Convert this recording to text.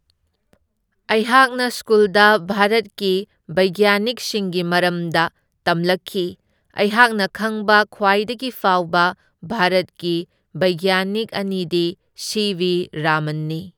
ꯑꯩꯍꯥꯛꯅ ꯁ꯭ꯀꯨꯜꯗ ꯚꯥꯔꯠꯀꯤ ꯕꯩꯖꯒ꯭ꯌꯥꯅꯤꯛꯁꯤꯡꯒꯤ ꯃꯔꯝꯗ ꯇꯝꯂꯛꯈꯤ, ꯑꯩꯍꯥꯛꯅ ꯈꯪꯕ ꯈ꯭ꯋꯥꯏꯗꯒꯤ ꯐꯥꯎꯕ ꯚꯥꯔꯠꯀꯤ ꯕꯩꯖꯒ꯭ꯌꯥꯅꯤꯛ ꯑꯅꯤꯗꯤ ꯁꯤ ꯚꯤ ꯔꯥꯍꯃꯟꯅꯤ꯫